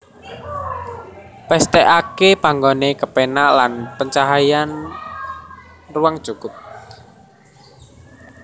Pesthekake panggone kepenak lan pencahayaan ruang cukup